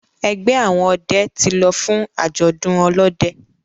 ẹgbẹ àwọn òde tí ló fún ajọdun olóde.